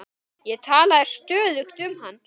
Ég talaði stöðugt um hann.